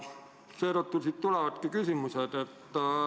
Siit tulevadki küsimused.